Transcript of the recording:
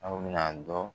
Aw bɛna dɔn